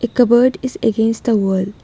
A cupboard is against the wall .